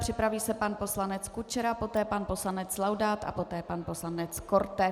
Připraví se pan poslanec Kučera, poté pan poslanec Laudát a poté pan poslanec Korte.